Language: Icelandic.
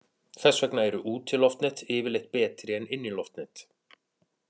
Þess vegna eru útiloftnet yfirleitt betri en inniloftnet.